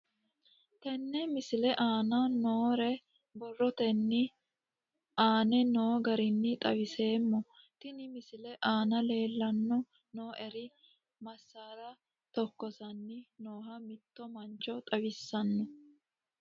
Tenne misile aana noore borrotenni aane noo garinni xawiseemo. Tenne misile aana leelanni nooerri masaara tokkossanni nooha mitto mancho xawissanno.